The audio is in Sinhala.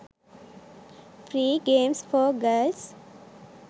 free games for girls